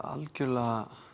algjörlega